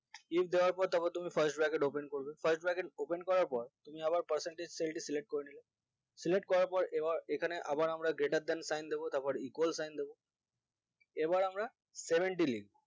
if দেওয়ার পর তারপর তুমি first backet open করবে first backet open তুমি আবার percentage seal টি select করে নিলে select করার পর আবার এখানে আবার আমরা greater than sign দিবো তারপর equal sign দেব এবার আমরা seventy লিখবো